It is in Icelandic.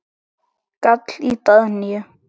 gall í Daðínu.